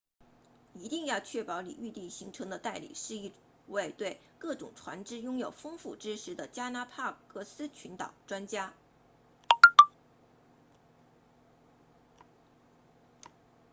一定要确保你预订行程的代理是一位对各种船只拥有丰富知识的加拉帕戈斯群岛 galapagos 专家